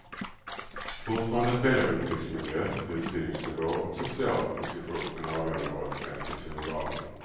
Fortfarande spelar uppväxtmiljö, utbildningsnivå och social position en avgörande roll för ens kulturvanor.